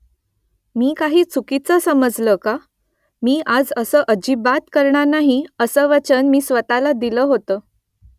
मी काही चुकीचं समजले का ? मी आज असं अजिबात करणार नाही , असं वचन मी स्वतःला दिल होतं